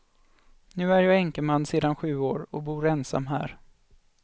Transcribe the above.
Nu är jag änkeman sedan sju år och bor ensam här.